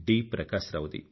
Prakasa Rao the